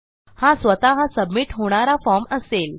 हा स्वतः सबमिट होणारा फॉर्म असेल